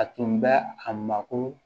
A tun bɛ a mako